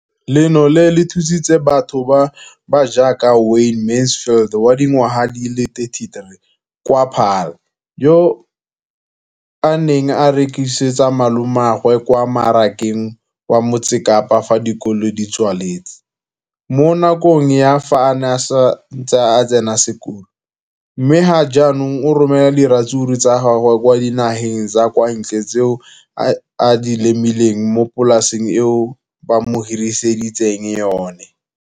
Leno le thusitse batho ba ba jaaka Wayne Mansfield, 33, wa kwa Paarl, yo a neng a rekisetsa malomagwe kwa Marakeng wa Motsekapa fa dikolo di tswaletse, mo nakong ya fa a ne a santse a tsena sekolo, mme ga jaanong o romela diratsuru tsa gagwe kwa dinageng tsa kwa ntle tseo a di lemileng mo polaseng eo ba mo hiriseditseng yona.